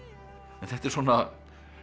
en þetta er svona